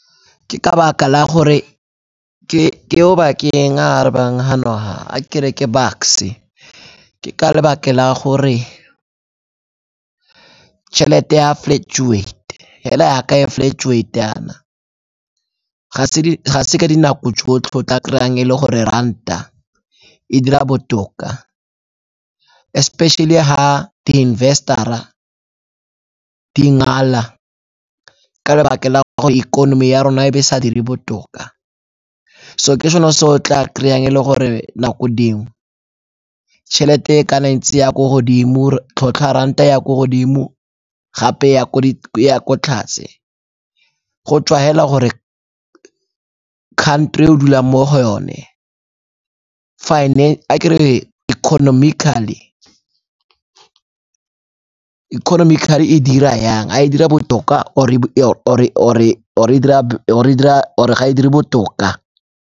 Ke ka 'baka la gore, ke Obakeng o arabang hano ha, a ke re ke Bucks-e. Ke ka lebaka la gore tšhelete ya flactuate hela yaka e flactuate yana, ga se ka dinako tsotlhe go tla kry-ang e le gore ranta e dira botoka. Especially ha di-investor-ra di ngala ka lebaka la gore ikonomi ya rona e be e sa dire botoka. So ke sone se o tla kry-ang e le gore nako dingwe tšhelete e kana ntse e ya ko godimo, or-e tlhotlha ya ranta e ya ko godimo gape e ya ko tlase go tswa hela gore country e o dulang mo go yone. Fine-e ha ke re economically, economically e dira yang a e dira botoka o-re ga e dire botoka.